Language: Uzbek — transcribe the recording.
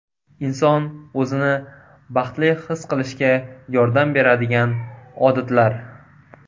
Inson o‘zini baxtli his qilishga yordam beradigan odatlar.